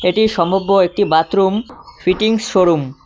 এটি সম্ভব্য একটি বাথরুম ফিটিংস শোরুম ।